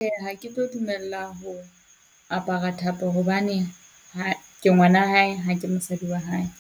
Ha ke tlo dumella ho apara thapo hobane ha, ke ngwana hae ha ke mosadi wa hae.